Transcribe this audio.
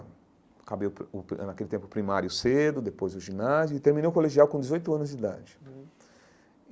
Acabei o pri o pri eh naquele tempo o primário cedo, depois o ginásio, e terminei o colegial com dezoito anos de idade.